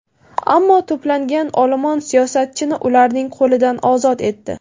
Ammo to‘plangan olomon siyosatchini ularning qo‘lidan ozod etdi.